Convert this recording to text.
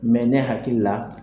ne hakili la.